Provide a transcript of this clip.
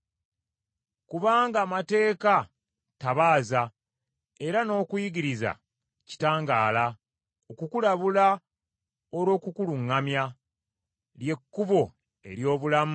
Kubanga amateeka ttabaaza, era n’okuyigiriza kitangaala, okukulabula olw’okukuluŋŋamya, ly’ekkubo ery’obulamu,